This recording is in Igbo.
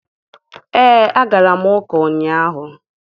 Ee, agara m ụka ụnyaahụ.